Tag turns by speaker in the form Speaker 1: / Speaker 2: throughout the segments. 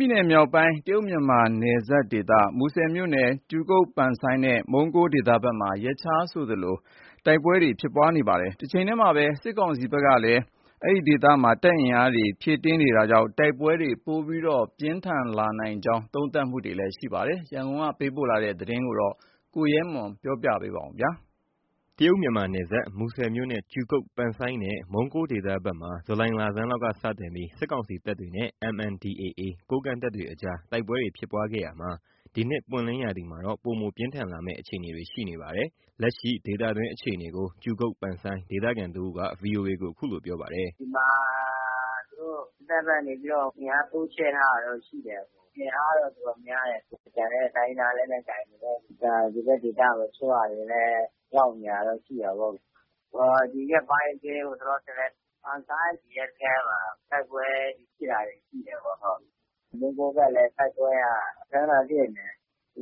Speaker 1: ပြည်နယ် မြောက်ပိုင်း တရုတ်မြန်မာနယ်စပ်ဒေသ မူဆယ်မြို့နယ် ကြူကုတ် နဲ့ မုံးကိုး ဒေသဘက်မှာ ရက်ခြားဆိုသလို တိုက်ပွဲတွေ ဖြစ်ပွားနေပါတယ်။ တချိန်တည်းမှာပဲ စစ်ကောင်စီဘက်က တပ်အင်အားတွေ ဖြည့်တင်းနေတာကြောင့် တိုက်ပွဲတွေ ပိုမိုပြင်းထန်လာနိုင်ကြောင်း သုံးသပ်တာတွေ ရှိနေပါတယ်။ ရန်ကုန်ကလာတဲ့ တရုတ် မြန်မာနယ်စပ်က စစ်ရေးသတင်းကိုတော့ ကိုရဲမွန်က တင်ပြပေးပါမယ်။ တရုတ်မြန်မာနယ်စပ် မူဆယ်မြို့နယ် ကြူကုတ် နဲ့ မုံးကိုးဒေသဘက်မှာ ဇူလိုင်လဆန်းလောက် စတင်ပြီး စစ်ကောင်စီတပ်တွေနဲ့ MNDAA ကိုးကန့်တပ်တွေအကြား တိုက်ပွဲတွေဖြစ်ခဲ့ရာက ဒီနှစ် ပွင့်လင်းရာသီမှာတော့ ပိုမို ပြင်းထန်လာမယ့် အခြေအနေတွေ ရှိနေပါတယ်။ လက်ရှိ ဒေသတွင်း အခြေအနေကို ကြူကုတ် ဒေသခံတစ်ဦးက VOA ကို အ
Speaker 2: ခုလို ပြောပါတယ်။ “ ဒီမှာ စစ်တပ်ဘက်ကနေပြီးတော့ အင်အား တိုးချဲ့ထားတာတော့ ရှိတယ်။ အင်အားတော့ တော်တော်များတယ်။ ကျန်တဲ့ တိုင်းရင်းသား လက်နက်ကိုင်တွေလည်း ဒီဘက်ဒေသကို တချို့ဟာတွေလည်း ရောက်နေတာတော့ ရှိတာပေါ့။ ဒီရက်ပိုင်း လောလောဆယ် ပန်ဆိုင်းရဲစခန်းမှာ တိုက်ပွဲဖြစ်တာတွေ ရှိတယ်ပေါ့။ မုံးကိုးဘက်လည်း တိုက်ပွဲက ခန ခန ဖြစ်နေ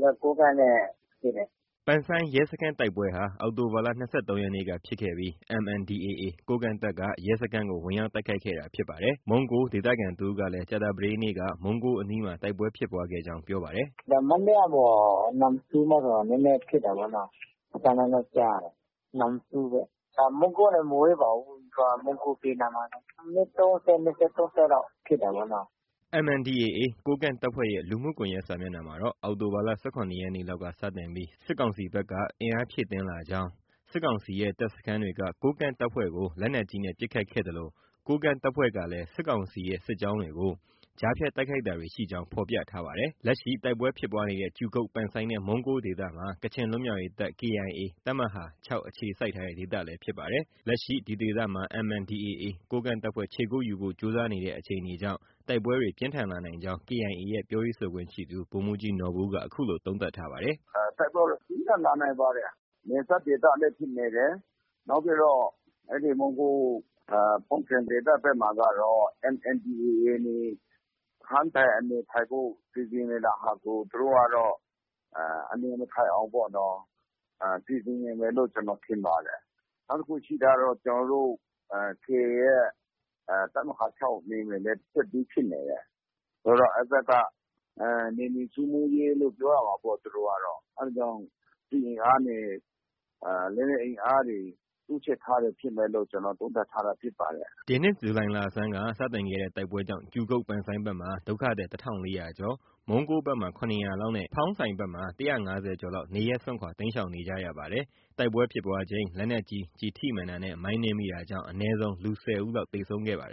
Speaker 2: တယ်။ ကိုးကန့်နဲ့ ဖြစ်တယ်။” ပန်ဆ
Speaker 1: ိုင်း ရဲစခန်းတိုက်ပွဲဟာ အောက်တိုဘာလ ၂၃ ရက်နေ့က ဖြစ်ခဲ့ပြီး MNDAA ကိုးကန့်တပ်က ရဲစခန်းကို ဝင်ရောက်တိုက်ခိုက်ခဲ့တာဖြစ်ပါတယ်။ မုံးကိုး ဒေသခံတဦးကလည်း ကြာသပတေးနေ့က မုံးကိုးအနီးမှာ တိုက်ပွဲဖြစ်ပွားခဲ့ကြောင်း ပြောပါတယ်
Speaker 2: ။ “ မနေ့ကကို နမ့်တူးဘက်မှာ နည်းနည်းဖြစ်တာပေါ့နော့။ အသံ နည်းနည်းကြားရတယ်။ နမ့်တူးဘက်က မုံးကိုးကနေ မဝေးပါဘူး။ မုံးကိုး ဘေးနားမှာပဲ။ မိနစ် ၃၀။ ၂၀ - ၃၀ လောက် ဖြစ်တာပေါ့နော။” ဒီနေ့ကတော့ တိုက်ပွဲဖြစ်ပွားသံ မကြားရကြောင်း ပြောပါတယ်။
Speaker 1: MNDAA ကိုးကန့်တပ်ဖွဲ့ရဲ့ လူမှုကွန်ယက် စာမျက်နှာမှာတော့ အောက်တိုဘာလ ၁၇ ရက်နေ့လောက်က စတင်ပြီး စစ်ကောင်စီဘက်က အင်အားဖြည့်တင်းလာကြောင်း၊ စစ်ကောင်စီရဲ့ တပ်စခန်းတွေက ကိုးကန့်တပ်ဖွဲ့ကို လက်နက်ကြီးနဲ့ ပစ်ခတ်ခဲ့သလို ကိုးကန့်တပ်ဖွဲ့ကလည်း စစ်ကောင်စီရဲ့ စစ်ကြောင်းတွေကို ကြားဖြတ် တိုက်ခိုက်တာတွေရှိကြောင်း ဖော်ပြထားပါတယ်။ လက်ရှိ တိုက်ပွဲဖြစ်ပွားနေတဲ့ ကြူကုတ် နဲ့ မုံးကိုးဒေသမှာ ကချင်လွတ်မြောက်ရေးတပ် KIA တပ်မဟာ ၆ အခြေစိုက်ထားတဲ့ ဒေသလည်း ဖြစ်ပါတယ်။ လက်ရှိ ဒီဒေသမှာ MNDAA ကိုးကန့်တပ်ဖွဲ့ ခြေကုပ်ယူဖို့ ကြိုးစားနေတဲ့ အခြေအနေကြောင့် တိုက်ပွဲတွေ ပြင်းထန် လာနိုင်ကြောင်း KIA ရဲ့ ပြောရေးဆိုခွင့်ရှိသူ ဗိုလ်မှူးကြီးနော်ဘူက အခုလို သုံးသပ်ထားပါတယ်
Speaker 3: ။ “ တိုက်ပွဲကတော့ ပြင်းထန်လာနိုင်ပါတယ်။ နယ်စပ်ဒေသလည်း ဖြစ်နေတယ်။ နောက်ပြီးတော့ မုံးကိုး၊ ဖောင်းဆိုင်ဒေသဘက်မှာကတော့ MNDAA တွေ စခန်းထိုင်၊ အနေထိုင်ဖို့ စီစဉ်နေတာဟာကို သူတို့ကတော့ အနေမထိုင်နိုင်အောင် စီစဉ်နေတယ်လို့ ကျနော်ထင်ပါတယ်။ နောက်တစ်ခု ရှိတာကတော့ ကျနော်တို့ KIA ရဲ့ တပ်မဟာ ၆ နယ်မြေလည်း တဆက်တည်း ဖြစ်နေတယ် ဆိုတော့ - အဲဒီဘက်က နယ်မြေရှင်းလင်းရေးလို့ ပြောရမှာပေါ့ သူတို့က။ အဲဒါကြောင့် စစ်အင်အားတွေ၊ လက်နက်အင်အားတွေ တိုးချဲ့ထားတာဖြစ်မယ်လို့ ကျနော် သုံးသပ်ထားတာဖြစ်ပါတယ်။
Speaker 1: ” ဒီနှစ် ဇူလိုင်လဆန်းက စတင်ခဲ့တဲ့ တိုက်ပွဲကြောင့် ကြူကုတ် ဘက်မှာ ဒုက္ခသည် ၁၄၀၀ ကျော်၊ မုံးကိုးဘက်မှာ ၇၀၀ လောက်နဲ့ ဖောင်းဆိုင်ဘက်မှာ ၁၅၀ ကျော်လောက် နေရပ်စွန့်ခွာ တိမ်းရှောင်နေရပါတယ်။ တိုက်ပွဲဖြစ်ပွားချိန် လက်နက်ကြီး ကျည်ထိမှန်တာနဲ့ မိုင်းနင်းမိတာကြောင့် အနည်းဆုံး လူ ၁၀ဦး လောက် သေဆုံးခဲ့ပါတယ်